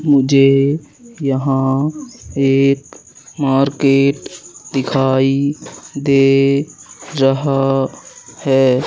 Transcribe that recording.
मुझे यहां एक मार्केट दिखाई दे रहा है।